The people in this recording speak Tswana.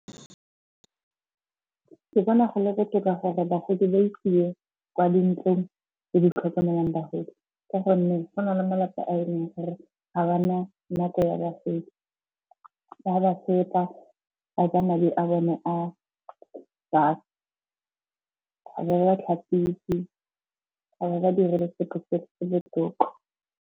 Ke bona go le botoka gore bagodi ba isiwe kwa dintlong tse di tlhokomelang bagodi ka gonne go na le malapa a e leng gore ga ba na nako ya bagolo. Ba ba feta, ba ja madi a bone a , ga ba ba tlhapise, ga ba ba direle sepe le tota.